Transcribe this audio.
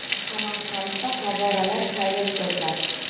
Samarqandda favvoralar sayli o‘tkaziladi.